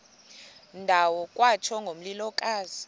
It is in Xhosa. ndawo kwatsho ngomlilokazi